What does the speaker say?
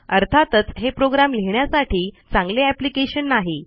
अर्थातच हे प्रोग्रॅम लिहिण्यासाठी चांगले एप्लिकेशन नाही